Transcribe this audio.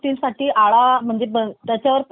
त्याच्यावर बंदी येइल, म्हणजे